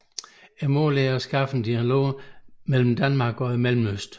Formålet er at skabe dialog mellem Danmark og Mellemøsten